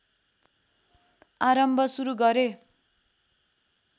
आरम्भ सुरु गरे